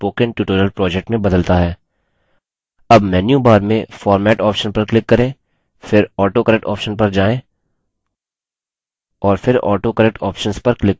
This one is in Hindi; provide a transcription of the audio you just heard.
अब menu bar में format option पर click करें फिर autocorrect option पर जायें और फिर autocorrect options पर click करें